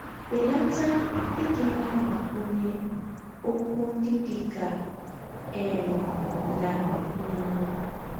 Belata ịdị na - agbakwụnye ọkwụ ndị dị ka ‘ eem ’ na ‘ mmm. ’”